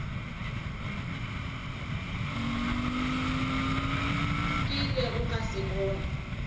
ke ilego ka se bona